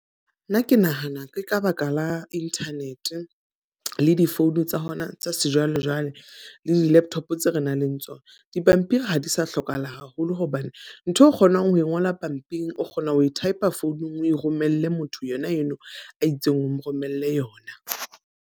Nna ke nahana ke ka baka la internet le di-phone tsa hona tsa sejwalejwale, le di laptop tse re nang le tsona. Dipampiri ha di sa hlokahala haholo hobane ntho eo o kgonang ho ngola pampiring o kgona ho e type founung o e romelle motho yona eno a itseng, o mo romelle yona.